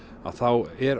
þá er